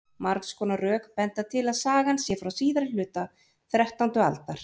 margs konar rök benda til að sagan sé frá síðari hluta þrettándu aldar